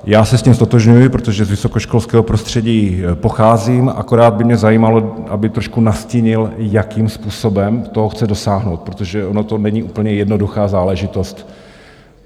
Já se s tím ztotožňuji, protože z vysokoškolského prostředí pocházím, akorát by mě zajímalo, aby trošku nastínil, jakým způsobem toho chce dosáhnout, protože ono to není úplně jednoduchá záležitost.